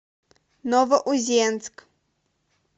новоузенск